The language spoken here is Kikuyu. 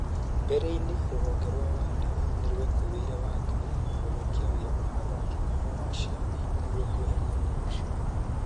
Mbere-inĩ WADA nĩyekũĩire Wangarĩ na gũthũkia ũira wa athaki kuma Russia nĩguo kweheria ũira ũcio.